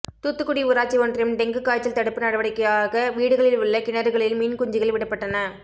தூத்துக்குடி ஊராட்சி ஒன்றியம் டெங்கு காய்ச்சல் தடுப்பு நடவடிக்கையாக வீடுகளில் உள்ள கிணறுகளில் மீன் குஞ்சுகள் விடப்பட்டன